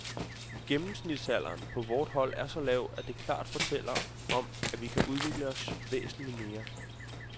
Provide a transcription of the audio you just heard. Gennemsnitsalderen på vort hold er så lav, at det klart fortæller om, at vi kan udvikle os væsentligt mere.